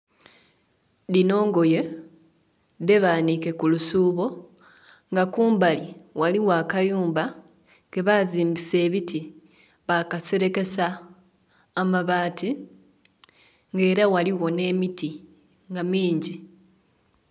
Dhino ngoye dhebanhike ku lusubo nga kumbali ghaligho akayumba ke bazimbisa ebiti bakaserekesa amabati nga era ghaligho nhe miti nga mingi.